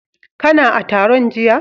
Kana a taron jiya?